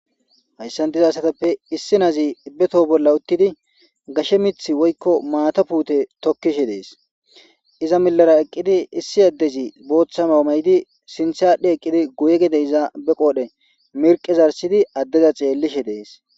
Hayssan diza asatappe issi naazi ibbetoh bolla uttidi gashe mith woykko maata puute tokkishe dees iza milara eqqidi issi addezi booththamamay'idi sinthadhe eqqidi guye gede izaabe qoodhe mirqezarsidi addeza ceellishe dees.